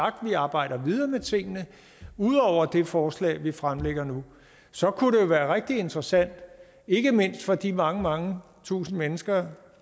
arbejder vi videre med tingene ud over det forslag vi fremlægger nu så kunne det være rigtig interessant ikke mindst for de mange mange tusinde mennesker